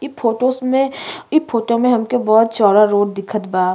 इ फोटोस में इ फोटो में हमके बहोत चौड़ा रोड दिखत बा।